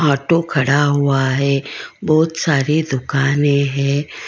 Auto खड़ा हुआ है बहुत सारी दुकाने हैं।